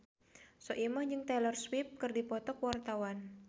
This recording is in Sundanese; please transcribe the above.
Soimah jeung Taylor Swift keur dipoto ku wartawan